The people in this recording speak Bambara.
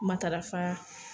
Matarafa